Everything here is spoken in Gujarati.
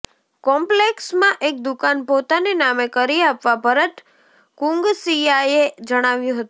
કોમ્પ્લેકસમાં એક દુકાન પોતાને નામે કરી આપવા ભરત કુંગસીયાએ જણાવ્યું હતું